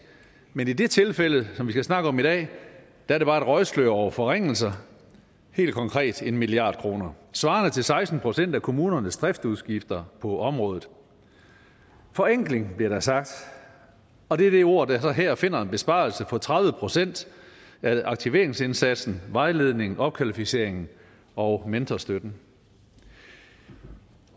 men i det tilfælde som vi skal snakke om i dag er det bare et røgslør over forringelser helt konkret en milliard kroner svarende til seksten procent af kommunernes driftsudgifter på området forenkling bliver der sagt og det er det ord der så her finder en besparelse på tredive procent af aktiveringsindsatsen vejledningen opkvalificeringen og mentorstøtten